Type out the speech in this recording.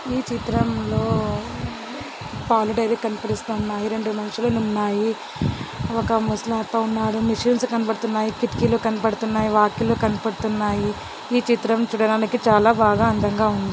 ఈ చిత్రంలో పాల డైరీ కనబరుస్తున్నాయి రెండు మనుషులునున్నాయి ఒక ముసనాతో ఉన్నాడు మిషన్స్ కనబడుతున్నాయి కిటికీలు కనబడుతున్నాయి వాకిలు కనబడుతున్నాయి ఈ చిత్రం చూడడానికి చాలా బాగా అందంగా ఉంది.